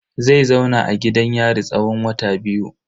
Zai zauna a gidan yari tsawon wata biyu.